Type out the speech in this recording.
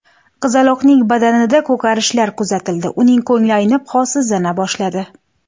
Qizaloqning badanida ko‘karishlar kuzatildi, uning ko‘ngli aynib, holsizlana boshladi.